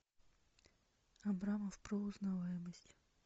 абрамов про узнаваемость